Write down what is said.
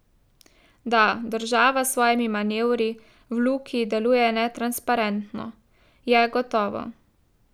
Da država s svojimi manevri v Luki deluje netransparentno, je gotovo.